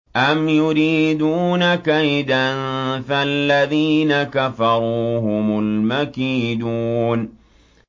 أَمْ يُرِيدُونَ كَيْدًا ۖ فَالَّذِينَ كَفَرُوا هُمُ الْمَكِيدُونَ